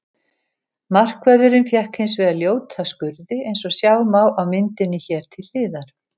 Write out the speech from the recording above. Markvörðurinn fékk hins vegar ljóta skurði eins og sjá má á myndinni hér til hliðar.